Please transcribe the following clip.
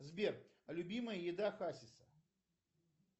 сбер любимая еда хасиса